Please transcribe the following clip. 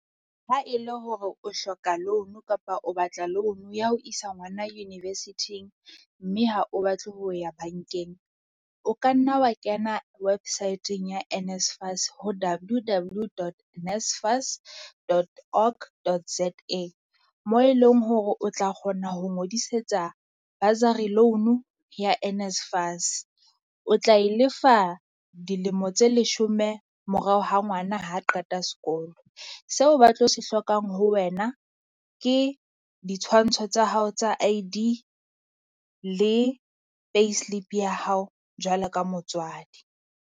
Ha e le hore o hloka a loan kapa o batla loan ya ho isa ngwana university-ng, mme ha o batle ho ya bankeng. O ka nna wa kena website-eng ya NSFAS ho W_W dot NSFAS dot org, dot Z_A. Moo e leng hore o tla kgona ho ngodisetsa bursary loan-o ya NSFAS. O tla e lefa dilemo tse leshome morao ha ngwana ha qeta sekolo. Seo ba tlo se hlokang ho wena, ke ditshwantsho tsa hao tsa I_D le payslip ya hao jwalo ka motswadi.